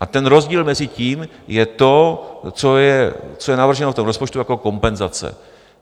A ten rozdíl mezi tím je to, co je navrženo v tom rozpočtu jako kompenzace.